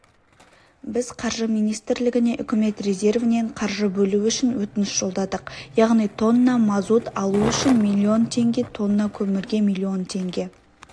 біз қаржы министрлігіне үкімет резервінен қаржы бөлуі үшін өтініш жолдадық яғни тонна мазут алу үшін млн теңге тонна көмірге млн теңге